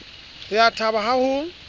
re a thaba ha ho